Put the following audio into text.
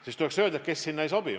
Teil tuleks öelda, kes sinna ei sobi.